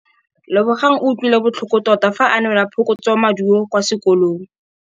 Lebogang o utlwile botlhoko tota fa a neelwa phokotsômaduô kwa sekolong.